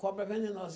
Cobra venenosa.